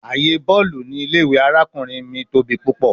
Aaye bọọlu ni ile-iwe arakunrin mi tobi pupọ